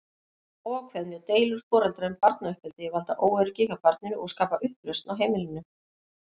Óákveðni og deilur foreldra um barnauppeldi valda óöryggi hjá barninu og skapa upplausn á heimilinu.